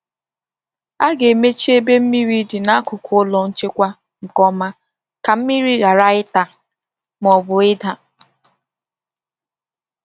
A ga-emechi ebe mmiri dị n’akụkụ ụlọ nchekwa nke ọma ka mmiri ghara ịta ma ọ bụ ịda.